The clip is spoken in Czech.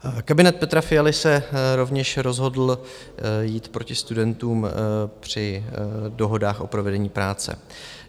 Kabinet Petra Fialy se rovněž rozhodl jít proti studentům při dohodách o provedení práce.